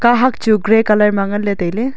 kahak chu grey colour ma ngan le taile.